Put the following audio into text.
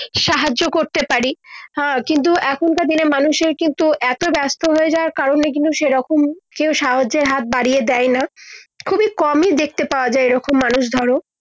সাহায্য করতে পারি হ্যাঁ কিন্তু এখন কার দিনে মানুষের কিন্তু এত ব্যস্ত হয়ে যাওয়ার কারণে কিন্তু সে রকম কেও সাহায্যের হাত বারিয়ে দেয় না খুবি কমই দেখতে পাওয়া যায় মানুষ ধরো